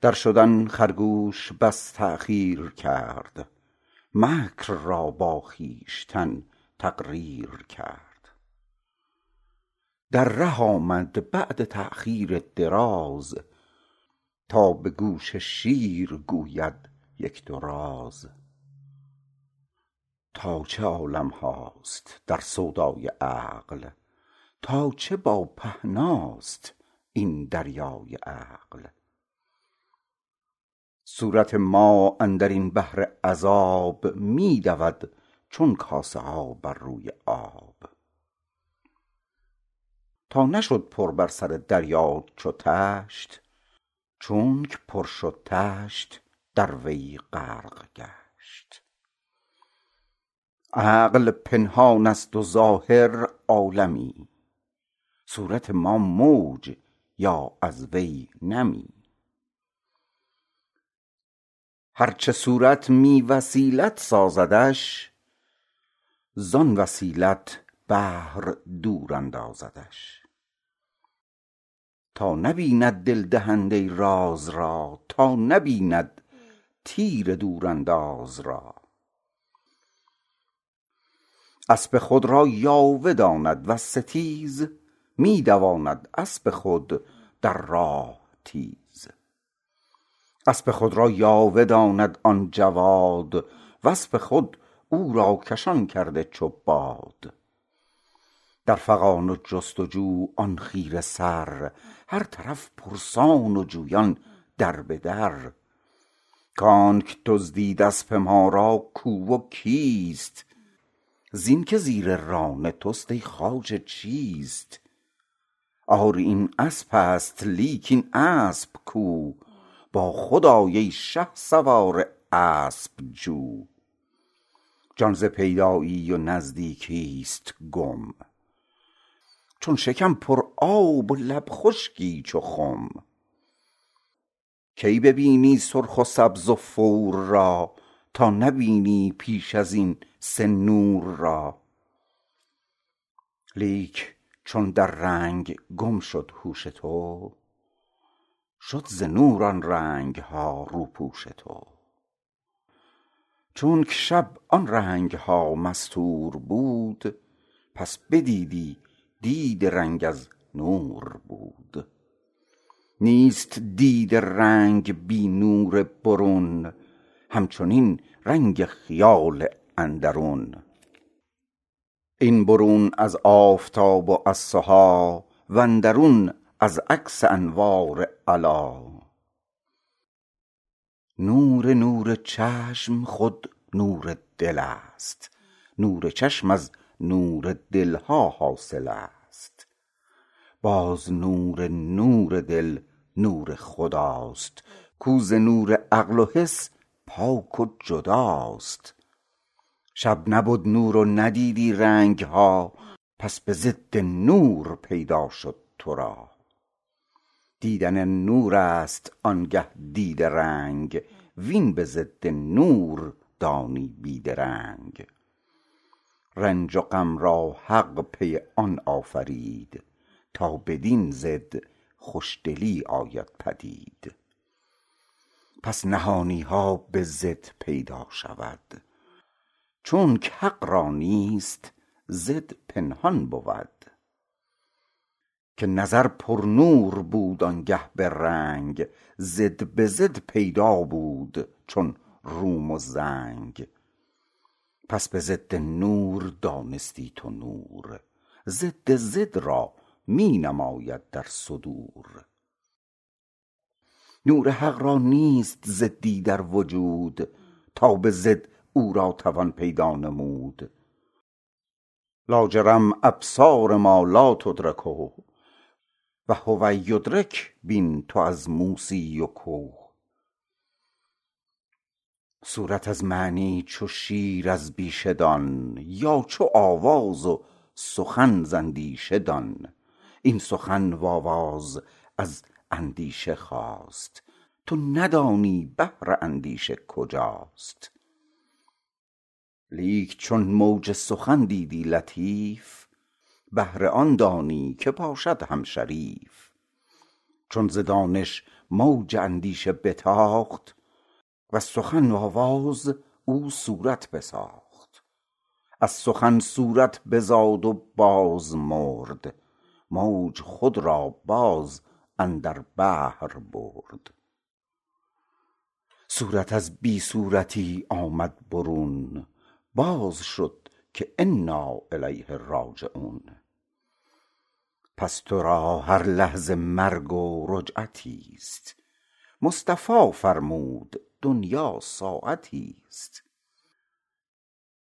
در شدن خرگوش بس تاخیر کرد مکر را با خویشتن تقریر کرد در ره آمد بعد تاخیر دراز تا به گوش شیر گوید یک دو راز تا چه عالم هاست در سودای عقل تا چه با پهنا ست این دریای عقل صورت ما اندرین بحر عذاب می دود چون کاسه ها بر روی آب تا نشد پر بر سر دریا چو تشت چونکه پر شد تشت در وی غرق گشت عقل پنهان ست و ظاهر عالمی صورت ما موج یا از وی نمی هر چه صورت بی وسیلت سازدش ز آن وسیلت بحر دور اندازدش تا نبیند دل دهنده راز را تا نبیند تیر دورانداز را اسپ خود را یاوه داند وز ستیز می دواند اسپ خود در راه تیز اسپ خود را یاوه داند آن جواد و اسپ خود او را کشان کرده چو باد در فغان و جست و جو آن خیره سر هر طرف پرسان و جویان در به در کانکه دزدید اسپ ما را کو و کیست این که زیر ران تست ای خواجه چیست آری این اسپست لیک این اسپ کو با خود آی ای شهسوار اسپ جو جان ز پیدایی و نزدیکی ست گم چون شکم پر آب و لب خشکی چو خم تا نبینی سرخ و سبز و بور را کی ببینی پیش ازین سه نور را لیک چون در رنگ گم شد هوش تو شد ز نور آن رنگ ها روپوش تو چونکه شب آن رنگ ها مستور بود پس بدیدی دید رنگ از نور بود نیست دید رنگ بی نور برون همچنین رنگ خیال اندرون این برون از آفتاب و از سها و اندرون از عکس انوار علا نور نور چشم خود نور دل ست نور چشم از نور دل ها حاصل ست باز نور نور دل نور خدا ست کاو ز نور عقل و حس پاک و جدا ست شب نبد نور و ندیدی رنگ ها پس به ضد نور پیدا شد ترا دیدن نور ست آنگه دید رنگ وین به ضد نور دانی بی درنگ رنج و غم را حق پی آن آفرید تا بدین ضد خوش دلی آید پدید پس نهانی ها به ضد پیدا شود چونک حق را نیست ضد پنهان بود که نظر بر نور بود آنگه به رنگ ضد به ضد پیدا بود چون روم و زنگ پس به ضد نور دانستی تو نور ضد ضد را می نماید در صدور نور حق را نیست ضد ی در وجود تا به ضد او را توان پیدا نمود لاجرم ابصار ما لا تدرکه و هو یدرک بین تو از موسی و که صورت از معنی چو شیر از بیشه دان یا چو آواز و سخن ز اندیشه دان این سخن و آواز از اندیشه خاست تو ندانی بحر اندیشه کجاست لیک چون موج سخن دیدی لطیف بحر آن دانی که باشد هم شریف چون ز دانش موج اندیشه بتاخت از سخن و آواز او صورت بساخت از سخن صورت بزاد و باز مرد موج خود را باز اندر بحر برد صورت از بی صورتی آمد برون باز شد که انا الیه راجعون پس ترا هر لحظه مرگ و رجعتیست مصطفی فرمود دنیا ساعتیست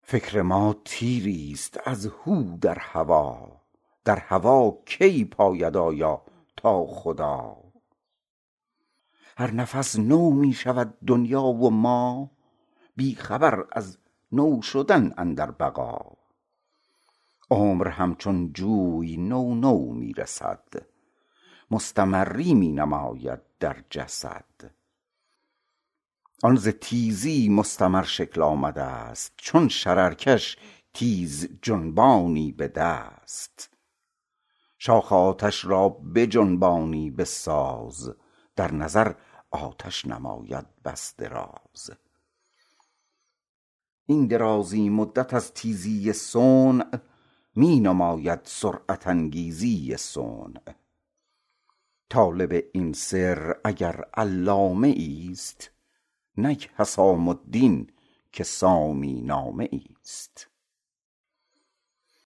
فکر ما تیر ی ست از هو در هوا در هوا کی پاید آید تا خدا هر نفس نو می شود دنیا و ما بی خبر از نو شدن اندر بقا عمر همچون جوی نو نو می رسد مستمری می نماید در جسد آن ز تیزی مستمر شکل آمده ست چون شرر کش تیز جنبانی بدست شاخ آتش را بجنبانی بساز در نظر آتش نماید بس دراز این درازی مدت از تیزی صنع می نماید سرعت انگیزی صنع طالب این سر اگر علامه ای ست نک حسام الدین که سامی نامه ای ست